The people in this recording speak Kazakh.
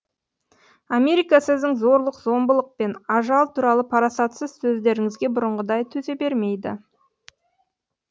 америка сіздің зорлық зомбылық пен ажал туралы парасатсыз сөздеріңізге бұрынғыдай төзе бермейді